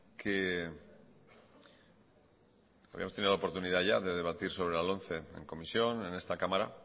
la oportunidad ya de debatir sobre la lomce en comisión en esta cámara